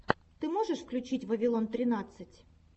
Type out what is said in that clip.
ты можешь включить вавилон тринадцать